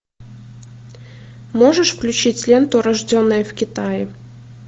можешь включить ленту рожденные в китае